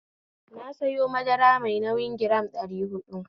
Na sayo madara mai nauyi giram ɗari huɗu